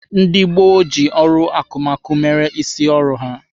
Ndị gboo ji ọrụ akụmakụ mere isi ọrụ ha.